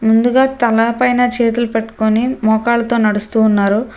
ముందుగా తల పైన చేతులు పెట్టుకొని మోకాళ్ళతో నడుస్తూ ఉన్నారు.